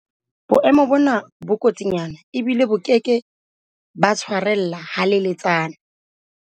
Boemo bona bo kotsinyana ebile bo ke ke ba tshwarella haleletsana.